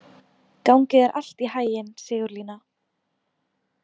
Gangi þér allt í haginn, Sigurlína.